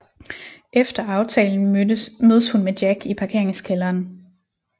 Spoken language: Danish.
Efter aftalen mødes hun med Jack i parkeringskælderen